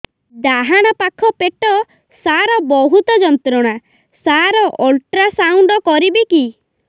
ଡାହାଣ ପାଖ ପେଟ ସାର ବହୁତ ଯନ୍ତ୍ରଣା ସାର ଅଲଟ୍ରାସାଉଣ୍ଡ କରିବି କି